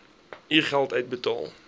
u geld uitbetaal